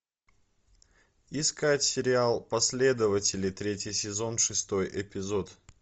искать сериал последователи третий сезон шестой эпизод